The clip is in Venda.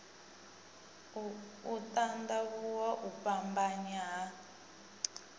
u tandavhuwa u fhambanya ha